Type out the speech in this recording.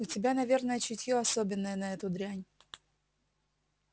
у тебя наверное чутье особенное на эту дрянь